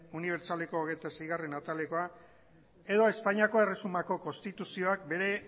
unibertsitateko hogeita seigarrena atalekoa eta espainiako erresumako konstituzioak bere